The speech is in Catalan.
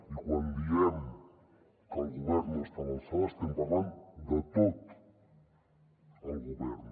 i quan diem que el govern no està a l’alçada estem parlant de tot el govern